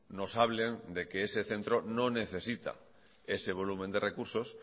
nos hablen de que ese centro no necesita ese volumen de recursos